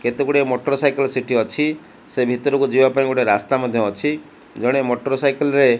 କେତେ ଗୁଡିଏ motorcycle ସେଠୀ ଅଛି ସେ ଭିତରୁକୁ ଯିବା ପାଇଁ ଗୋଟେ ରାସ୍ତା ମଧ୍ଯ ଅଛି ଜଣେ ମୋଟର ସାଇକେଲ ରେ --